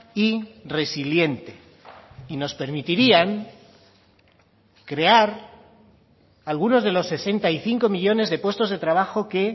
y resiliente y nos permitirían crear algunos de los sesenta y cinco millónes de puestos de trabajo que